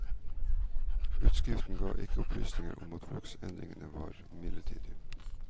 Utskriften ga ikke opplysninger om at bruksendringen var midlertidig.